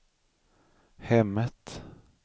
hemmet